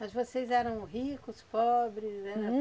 Mas vocês eram ricos, pobres? Eram